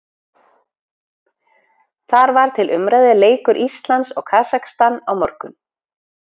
Þar var til umræðu leikur Íslands og Kasakstan á morgun.